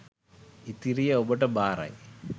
ඉතිරිය ඔබට බාරයි